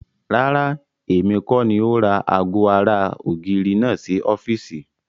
Rárá, èmi kọ́ni ó ra ago ara ògiri náà sì ọ́fíìsì.